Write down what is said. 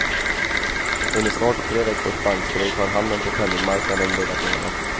Under snart tre veckors bankstrejk har handeln på penningmarknaden legat nere.